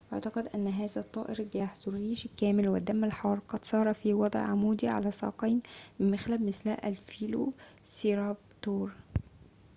ويُعتقد أن هذا الطائر الجارح ذو الريش الكامل والدم الحار قد سار في وضع عمودي على ساقين بمخالب مثل الفيلوسيرابتور